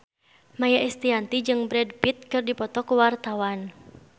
Maia Estianty jeung Brad Pitt keur dipoto ku wartawan